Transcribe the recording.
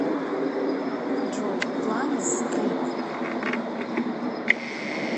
джой планез клип